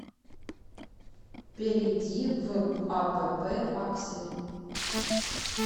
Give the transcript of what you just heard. перейди в апп аксель